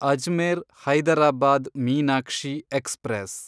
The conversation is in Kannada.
ಅಜ್ಮೇರ್ ಹೈದರಾಬಾದ್ ಮೀನಾಕ್ಷಿ ಎಕ್ಸ್‌ಪ್ರೆಸ್